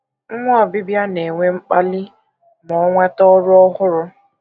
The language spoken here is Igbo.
Nwa obibịa na - enwe mkpali ma o nweta ọrụ ọhụrụ.